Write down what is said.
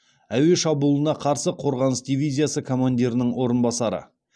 әуе шабуылына қарсы қорғаныс дивизиясы командирінің орынбасары